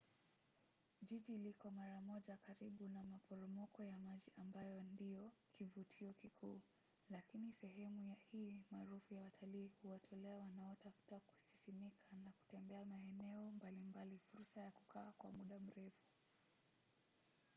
jiji liko mara moja karibu na maporomoko ya maji ambayo ndiyo kivutio kikuu lakini sehemu hii maarufu ya watalii huwatolea wanaotafuta kusisimka na kutembea maeneo mbali mbali fursa ya kukaa kwa muda mrefu